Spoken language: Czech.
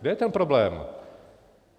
Kde je ten problém?